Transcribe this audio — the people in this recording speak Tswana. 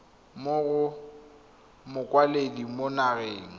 mo go mokwaledi mo nageng